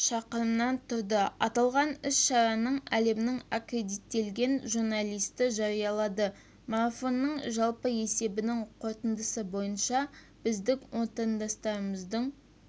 шақырымнан тұрады аталған іс-шараны әлемнің акредиттелген журналисті жариялады марафонның жалпы есебінің қорытындысы бойынша біздің отандастарымыздың